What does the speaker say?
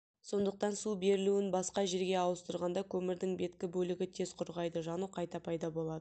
сондықтан су берілуін басқа жерге ауыстырғанда көмірдің беткі бөлігі тез құрғайды жану қайта пайда болады